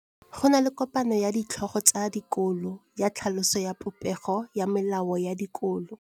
Go na le kopanô ya ditlhogo tsa dikolo ya tlhaloso ya popêgô ya melao ya dikolo.